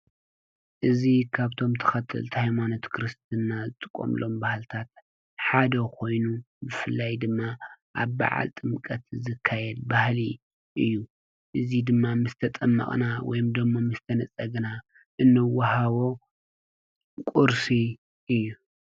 እዚ ካብቶም ተከተልቲ ሃይማኖት እምነት ክርስትና ዝጥቀምሎም ሓደ ኮይኑ ብፋላይ ድማ አብ በዓል ጥምቀት ዝካየድ ባህሊ እዪ። እዚ ድማ ምስ ተጠመቅና ወይ ድማ ምስ ተነፀግና እንወሃቦ ቁርሲ እዪ ።